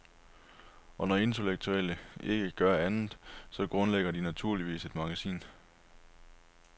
Og når intellektuelle ikke kan gøre andet, så grundlægger de naturligvis et magasin.